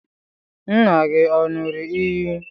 Nna gị ọ̀ ṅụrụ iyi?